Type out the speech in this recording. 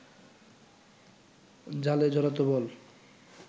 জালে জড়াতো বল